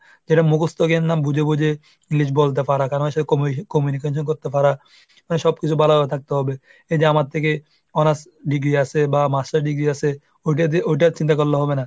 যেটা মুখস্ত জ্ঞান না বুঝে বুঝে English বলতে পারা কারণ সে communication করতে পারা. মানে সবকিছু ভালোভাবে থাকতে হবে। এই যে আমার থেকে honor's degree আছে বা master degree আছে ওইটা দিয়ে ওইটার চিন্তা করলে হবে না।